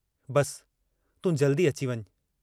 बस तूं जल्दी अची वञ।